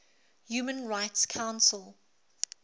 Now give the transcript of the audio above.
human rights council